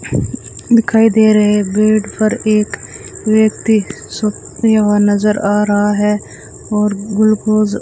दिखाई दे रहे बेड पर एक व्यक्ति सूप पिया हुआ नज़र आ रहा है और ग्लूकोस --